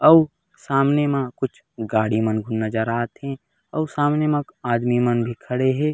अऊ सामने म कुछ गाड़ी मन नज़र आथे अऊ सामने म आदमी मन भी खड़े हे।